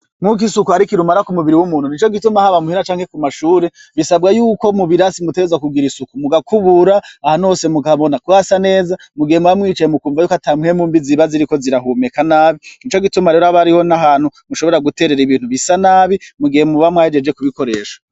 Mwuko isuku arikirumara ku mubiri w'umuntu ni co gituma haba muhena canke ku mashure bisabwa yuko mubirasimutereza kugira isuku mugakubura aha nose mugabona kwasa neza mugihe mubamwicaye mu kumva yuko ata mpwemu mbi ziba ziriko zirahumeka nabi ni co gituma rero abo ariho n'ahantu mushobora guterera ibintu bisa nabi mugihe mubamwe ahejeje kubikoresha.